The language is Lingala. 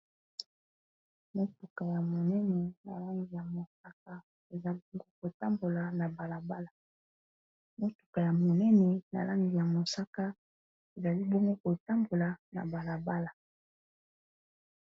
Motuka ya monene na lange ya mosaka ezalongo kotambola na balabala motuka ya monene na lange ya mosaka ezalibome kotambola na balabala.